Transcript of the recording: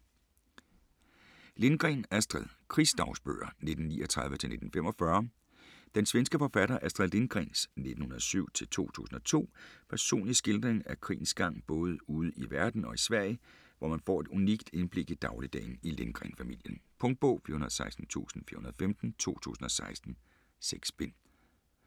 Lindgren, Astrid: Krigsdagbøger 1939-1945 Den svenske forfatter Astrid Lindgrens (1907-2002) personlige skildring af krigens gang både ude i verden og i Sverige, hvor man får et unikt indblik i dagligdagen i Lindgren-familien. Punktbog 416415 2016. 6 bind.